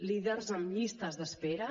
líders en llistes d’espera